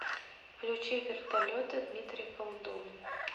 включи вертолеты дмитрий колдун